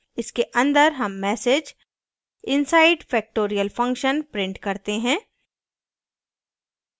इसके अंदर हम message inside factorial function print करते हैं